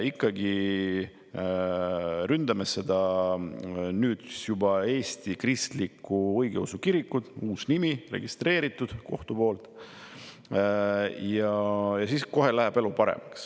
Ikkagi ründame seda, nüüd juba Eesti Kristlikku Õigeusu Kirikut – see on uus nimi, registreeritud kohtu poolt –, ja siis kohe läheb elu paremaks.